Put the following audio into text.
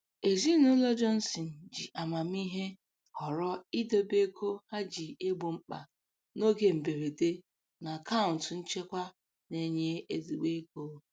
Ezinụlọ Johnson ji amamihe họrọ idobe ego ha ji egbo mkpa n'oge mberede na akaụntụ nchekwa na-enye ezigbo ego.